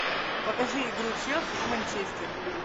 покажи игру челси и манчестер